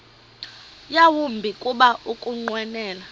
yawumbi kuba ukunqwenela